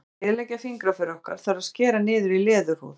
Til þess að eyðileggja fingraför okkar þarf að skera niður í leðurhúð.